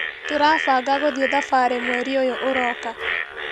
Tũrabanga gũthĩi thabarĩ mweri ũyu ũroka.